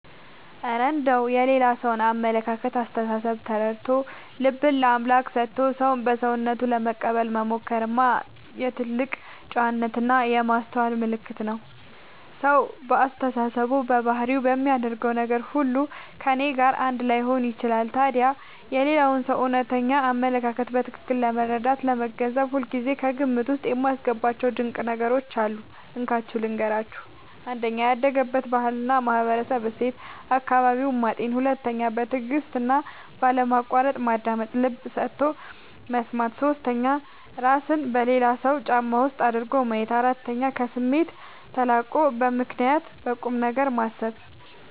እረ እንደው የሌላ ሰውን አመለካከትና አስተሳሰብ ተረድቶ፣ ልብን ለአምላክ ሰጥቶ ሰውን በሰውነቱ ለመቀበል መሞከርማ የትልቅ ጨዋነትና የማስተዋል ምልክት ነው! ሰው በአስተሳሰቡ፣ በባህሪውና በሚናገረው ነገር ሁሉ ከእኔ ጋር አንድ ላይሆን ይችላል። ታዲያ የሌላውን ሰው እውነተኛ አመለካከት በትክክል ለመረዳትና ለመገንዘብ ሁልጊዜ ከግምት ውስጥ የማስገባቸው ድንቅ ነገሮች አሉ፤ እንካችሁ ልንገራችሁ - 1. ያደገበትን ባህልና ማህበራዊ እሴት (አካባቢውን) ማጤን 2. በትዕግስትና ባለማቋረጥ ማዳመጥ (ልብ ሰጥቶ መስማት) 3. እራስን በሌላው ሰው ጫማ ውስጥ አድርጎ ማየት 4. ከስሜት ተላቆ በምክንያትና በቁምነገር ማሰብ